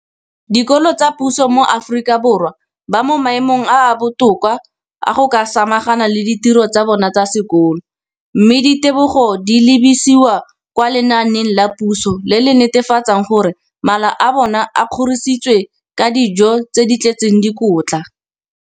Dikolo tsa puso mo Aforika Borwa ba mo maemong a a botoka a go ka samagana le ditiro tsa bona tsa sekolo, mme ditebogo di lebisiwa kwa lenaaneng la puso le le netefatsang gore mala a bona a kgorisitswe ka dijo tse di tletseng dikotla.